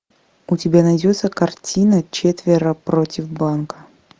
у тебя найдется картина четверо против банка